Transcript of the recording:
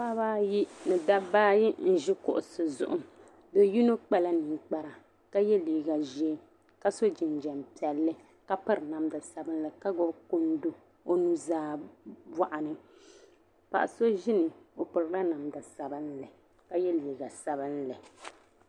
Paɣa ba ayi ni daba ayi n ʒi kuɣisi zuɣu do yi nyɛ kpala ninkpara , ka ye liiga ʒɛɛ ka so jin jam piɛli. ka piri namda, ka gbubi kundi ɔ nuzaa bɔɣini, ka ye liiga sabinli